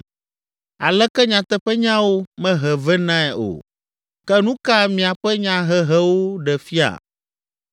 Aleke nyateƒenyawo mehe venae o! Ke nu ka miaƒe nyahehewo ɖe fia?